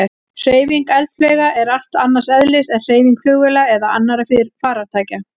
Hreyfing eldflauga er allt annars eðlis en hreyfing flugvéla eða annarra farartækja.